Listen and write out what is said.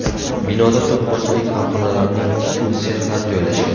Binoda to‘qimachilik korxonalarining tikuv sexlari joylashgan.